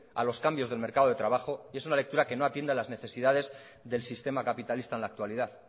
a los cambios del mercado de trabajo y es una lectura que no atiende a las necesidades del sistema capitalista en la actualidad